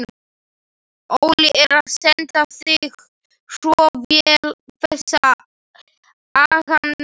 Óli er að standa sig svo vel þessa dagana.